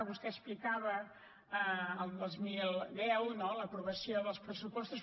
vostè explicava al dos mil deu no l’aprovació dels pressupostos